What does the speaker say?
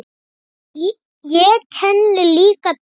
Ég kenni líka til.